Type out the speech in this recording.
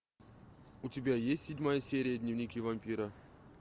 у тебя есть седьмая серия дневники вампира